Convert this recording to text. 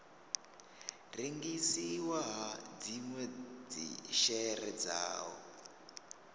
rengisiwa ha dzinwe dzishere dzawo